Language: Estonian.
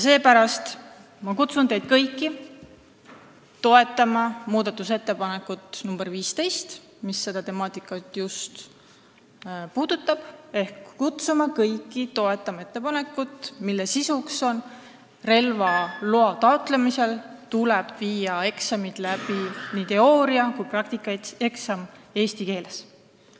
Seepärast kutsun ma teid kõiki üles toetama muudatusettepanekut nr 15, mis just seda temaatikat puudutab, ehk kutsun kõiki üles toetama ettepanekut, mille sisuks on see, et relvaloa taotlemisel tuleb eksam, nii teooria- kui ka praktikaeksam, teha eesti keeles.